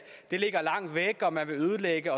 det ligger langt væk og at man vil ødelægge